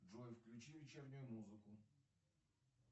джой включи вечернюю музыку